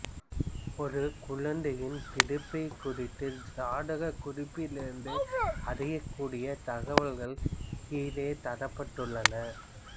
ஒரு குழந்தையின் பிறப்பைக் குறித்த சாதகக் குறிப்பொன்றிலிருந்து அறியக் கூடிய தகவல்கள் கீழே தரப்பட்டுள்ளன